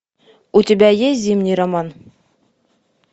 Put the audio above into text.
у тебя есть зимний роман